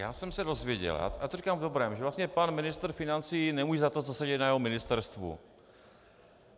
Já jsem se dozvěděl, já to říkám v dobrém, že vlastně pan ministr financí nemůže za to, co se děje na jeho ministerstvu.